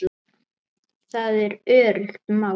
Það er öruggt mál.